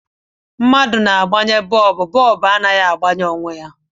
Mmadụ ga-agbanyeriri bọọbụ, ọ naghi agbanye onwe ya